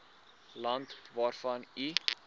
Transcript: land waarvan u